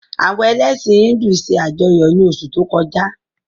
Àwọn elẹ̀sin Híndù se ajọyọ ni osu to koja.